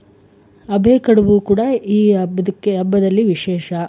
ಅದೇ ಕಡುಬು ಕೂಡ ಈ ಹಬ್ಬದಕ್ಕೆ ಹಬ್ಬದಲ್ಲಿ ವಿಶೇಷ.